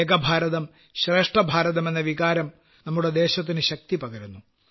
ഏകഭാരതം ശ്രേഷ്ഠഭാരതം എന്ന വികാരം നമ്മുടെ ദേശത്തിന് ശക്തി പകരുന്നു